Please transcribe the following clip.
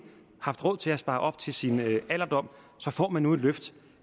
haft råd til at spare op til sin alderdom og så får man et løft